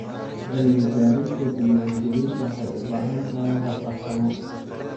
Cilmi-baarista diiwaan-gelinta waxay u baahan tahay hab farsamo.